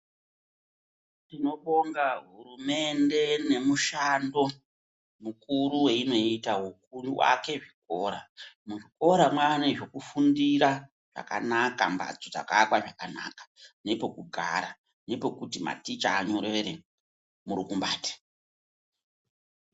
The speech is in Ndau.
Tinobonga hurumende nemushando mukuru weinoita wekuake zvikora. Muzvikora mwaane zvekufundira zvakanaka, mbhatso dzakaakwa zvakanaka nepekugara, nepekuti maticha anyorere murukumbati.